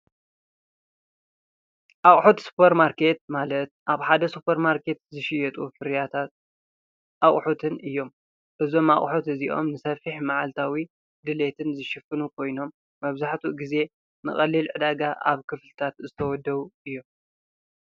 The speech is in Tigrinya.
ሓቁሑት ሱፐር ማርኬት ማለት ኣብ ሓደ ሱፐር ማርኬት ዝሽየጡ ፅሬት